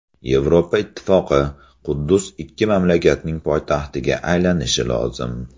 Yevropa Ittifoqi: Quddus ikki mamlakatning poytaxtiga aylanishi lozim.